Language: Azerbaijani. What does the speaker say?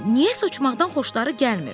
Niyəsə uçmaqdan xoşları gəlmir.